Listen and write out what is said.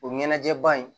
O ɲɛnajɛ ban in